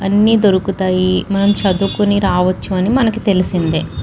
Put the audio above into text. అన్ని దొరుకుతాయి మనం చదువుకొని రావచ్చు అని మనకి తెలిసిందె.